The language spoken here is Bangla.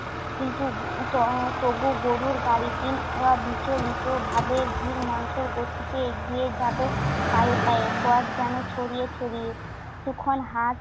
কিন্তু ত~ তবুও গরুর গাড়িটি অবিচলিতভাবে ধীরমন্থর গতিতে এগিয়ে যাবে পায়ে পায়ে, পথ যেন ছড়িয়ে ছড়িয়ে। যখন হাত